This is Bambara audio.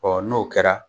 n'o kɛra